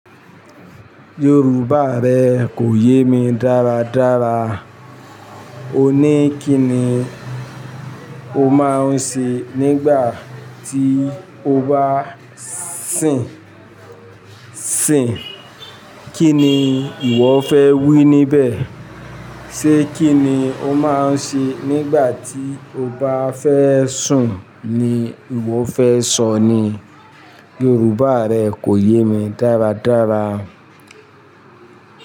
Yorùbá rẹ kò yé mi dáradára. O ní kí ni o máa ń ṣe nígbà tí o bá sìn sìn? Kí ni ìwọ fẹ́ wí níbẹ̀? Ṣé kí ni o máa ń ṣe nígbà tí o bá fẹ́ sùn ni ìwọ fẹ́ sọ ni? Yorùbá rẹ kò yé mi dáradára.